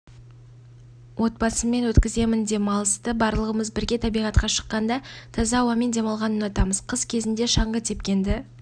отбасыммен өткіземін демалысты барлығымыз бірге табиғатқа шыққанды таза ауамен демалғанды ұнатамыз қыс кезінде шаңғы тепкенді